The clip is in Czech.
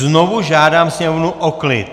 Znovu žádám sněmovnu o klid!